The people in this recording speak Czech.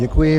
Děkuji.